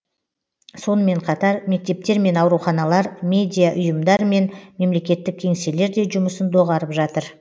сонымен қатар мектептер мен ауруханалар медиаұйымдар мен мемлекеттік кеңселер де жұмысын доғарып жатыр